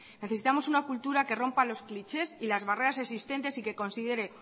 necesitamos una cultura que rompa los clichés y las barreras existentes y que considere